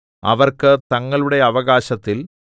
അവർക്ക് തങ്ങളുടെ അവകാശത്തിൽ